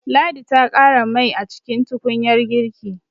Ladi ta ƙara mai a cikin tukunyar girki.